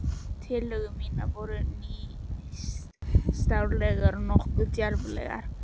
Tillögur mínar voru nýstárlegar og nokkuð djarflegar.